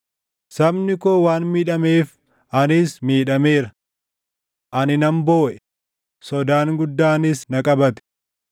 Sabni koo waan miidhameef anis miidhameera; Ani nan booʼe; sodaan guddaanis na qabate.